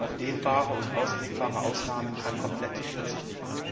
Auf dehnbare und auslegbare Ausnahmen kann komplett verzichtet werden.